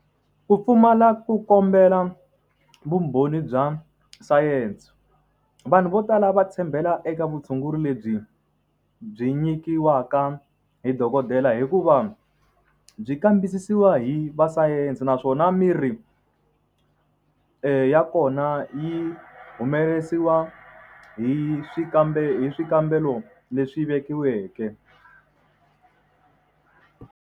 Ku pfumala ku kombela vumbhoni bya sayense vanhu vo tala va tshembela eka vutshunguri lebyi byi nyikiwaka hi dokodela hikuva byi kambisisiwa hi va sayense naswona miri ya kona yi humesiwa hi swikambelo hi swikambelo leswi vekiweke.